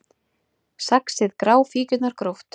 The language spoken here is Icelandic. Saxið gráfíkjurnar gróft